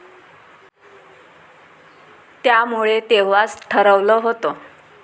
त्यामुळे तेव्हाच ठरवलं होत.